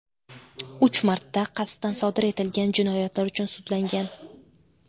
uch marta qasddan sodir etilgan jinoyatlar uchun sudlangan.